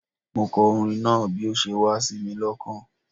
Mo kọ orin náà bi o se wá sími lokàn